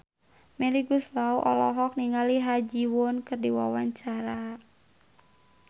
Melly Goeslaw olohok ningali Ha Ji Won keur diwawancara